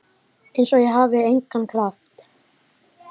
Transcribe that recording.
Einsog ég hafi engan kraft.